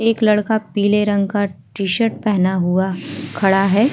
एक लड़का पीले रंग का टी-शर्ट पहना हुआ खड़ा है।